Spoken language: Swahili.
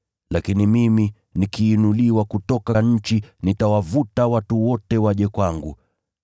Lakini mimi, nikiinuliwa kutoka nchi, nitawavuta watu wote waje kwangu.”